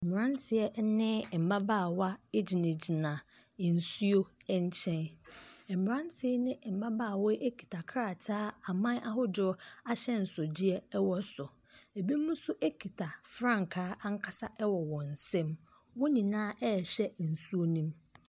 Mmeranteɛ ne mmabaawa gyinagyina nsuo nkyɛn. Mmeranteɛ ne mmabaawa yi kita krataa a aman ahodoɔ ahyɛnsodeɛ wɔ so. Ebinom nso kita frankaa anksa wɔ wɔn nsam. Wɔn nyinaa rehwɛ nsuo no mu.